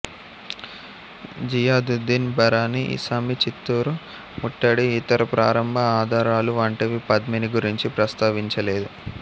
జియాదుద్దీన్ బరనీ ఇసామి చిత్తోరు ముట్టడి ఇతర ప్రారంభ ఆధారాలు వంటివి పద్మిని గురించి ప్రస్తావించ లేదు